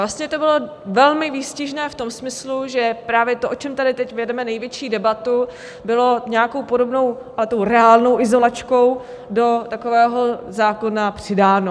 Vlastně to bylo velmi výstižné v tom smyslu, že právě to, o čem tady teď vedeme největší debatu, bylo nějakou podobnou, ale tou reálnou izolačkou do takového zákona přidáno.